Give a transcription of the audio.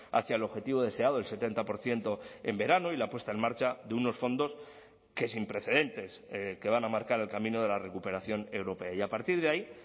hacia el objetivo deseado el setenta por ciento en verano y la puesta en marcha de unos fondos que sin precedentes que van a marcar el camino de la recuperación europea y a partir de ahí